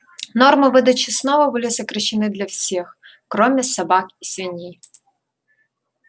нормы выдачи снова были сокращены для всех кроме собак и свиней